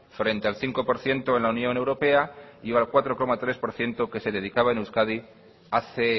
frente el cinco por ciento en la unión europea y el cuatro coma tres por ciento que se dedicaba en euskadi hace